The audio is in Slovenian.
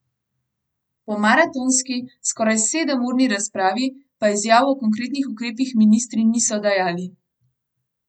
Po maratonski, skoraj sedemurni razpravi, pa izjav o konkretnih ukrepih ministri niso dajali.